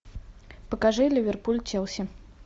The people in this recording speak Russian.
покажи ливерпуль челси